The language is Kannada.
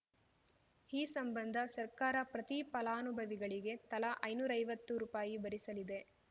ಈ ಸಂಬಂಧ ಸರ್ಕಾರ ಪ್ರತಿ ಫಲಾನುಭವಿಗಳಿಗೆ ತಲಾ ಐನೂರೈವತ್ತು ರೂಪಾಯಿ ಭರಿಸಲಿದೆ